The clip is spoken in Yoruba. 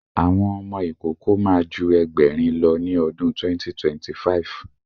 Àwọn ọmọ ìkókó ma ju Ẹgbẹ̀rin lọ ní ọdún 2025